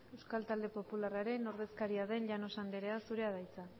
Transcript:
euskal talde popularraren ordezkaria den llanos andrea zurea da hitza